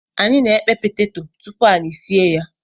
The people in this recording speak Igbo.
Anyi na-ekpe peteto tupu anyị sie ya.